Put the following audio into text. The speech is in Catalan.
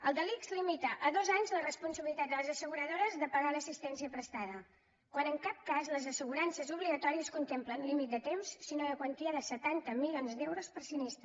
el de l’ics limita a dos anys la responsabilitat de les asseguradores de pagar l’assistència prestada quan en cap cas les assegurances obligatòries contemplen límit de temps sinó de quantia de setanta milions d’euros per sinistre